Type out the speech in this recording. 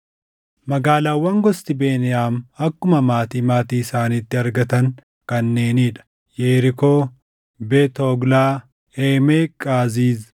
Magaalaawwan gosti Beniyaam akkuma maatii maatii isaaniitti argatan kanneenii dha: Yerikoo, Beet Hoglaa, Eemeqi Qaziizi,